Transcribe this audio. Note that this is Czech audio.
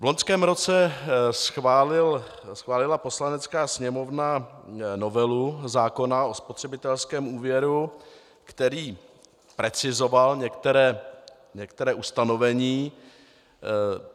V loňském roce schválila Poslanecká sněmovna novelu zákona o spotřebitelském úvěru, který precizoval některá ustanovení.